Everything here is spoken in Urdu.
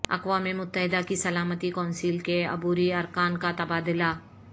اقوام متحدہ کی سلامتی کونسل کے عبوری ارکان کا تبادلہ